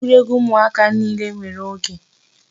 Egwuregwu ụmụaka niile nwere oge.